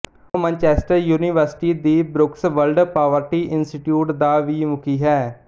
ਉਹ Manchester University ਦੀ Brooks World Poverty Institute ਦਾ ਵੀ ਮੁਖੀ ਹੈ